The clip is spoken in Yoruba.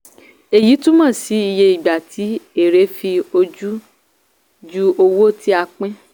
èyí túmọ̀ sí iye ìgbà tí èèrè fi ojú ju owó tí a pín.